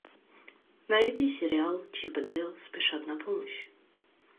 найди сериал чип и дейл спешат на помощь